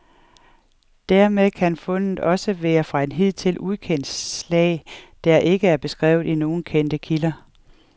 Dermed kan fundet også være fra et hidtil ukendt slag, der ikke er beskrevet i nogen kendte kilder.